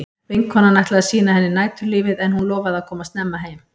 Vinkonan ætlaði að sýna henni næturlífið en hún lofaði að koma snemma heim.